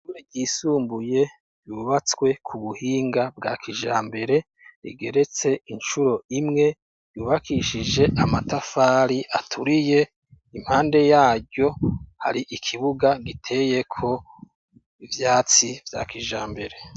Ishure ryisumbuye ryubatswe ku buhinga bwa kijambere, rigeretse inshuro imwe ryubakishije amatafari aturiye, impande yaryo hari ikibuga ngiteye ko ivyatsi vya kijambere.